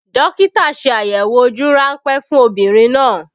Dókítà ṣe àyẹ̀wò ojú ránpẹ́ fún obìnrin náà